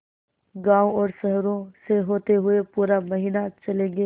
गाँवों और शहरों से होते हुए पूरा महीना चलेंगे